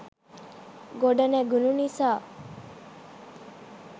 ගොඩනැඟුණු නිසා